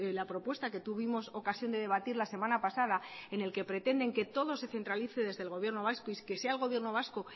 la propuesta que tuvimos ocasión de debatir la semana pasada en el que pretenden que todo se centralice desde el gobierno vasco y que sea el gobierno vasco